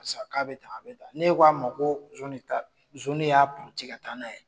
Paseke k'a be tan a be tan. N'e k'a ma ko zon ne ta don zon de y'a puruti ka taa n'a ye